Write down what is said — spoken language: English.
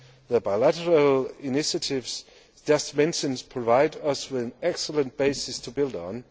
The bilateral initiatives just mentioned provide us with an excellent basis to build